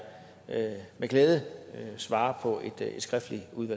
med glæde svare på et skriftligt